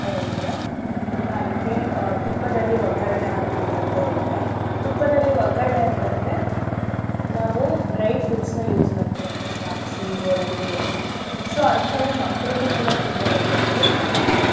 ಹೇಳ್ದೆ ಈಗ ಅದಕ್ಕೇ ಆ ತುಪ್ಪದಲ್ಲಿ ಒಗ್ಗರಣೆ ಹಾಕ್ತಿವಿ ಅಂತ ಹೇಳ್ದೆ. ತುಪ್ಪದಲ್ಲಿ ಒಗ್ಗರಣೆ ಅಂತ್ ಅಂದ್ರೆ ನಾವು dry fruits ನ use ಮಾಡ್ತಿವಿ ಅಂದ್ರೆ ದ್ರಾಕ್ಷಿ ಗೋಡಂಬಿ ಎಲ್ಲಾ. So ಅಂಥವು ಮಕ್ಳಿಗು ಕೂಡ ತುಂಬಾ ಒಳ್ಳೇದು ಮತ್ತೆ ತುಪ್ಪ.